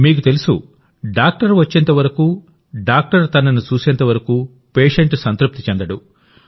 మీకు తెలుసు డాక్టర్ వచ్చేంతవరకు డాక్టర్ తనను చూసేంతవరకు పేషెంట్ సంతృప్తి చెందడు